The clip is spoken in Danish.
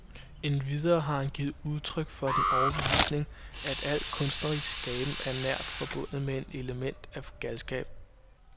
Endvidere har han givet udtryk for den overbevisning, at al kunstnerisk skaben er nært forbundet med et element af galskab.